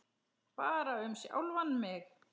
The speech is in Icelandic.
Bara um sjálfan sig.